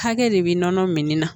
Hakɛ de bɛ nɔnɔ min na